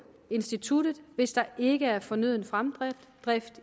instituttet hvis der ikke er fornøden fremdrift